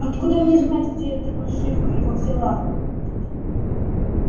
откуда мне знать где эта паршивка его взяла